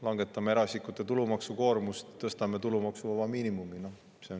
Langetame eraisikute tulumaksukoormust, tõstame tulumaksuvaba miinimumi.